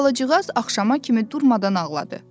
Albalıcığaz axşama kimi durmadan ağladı.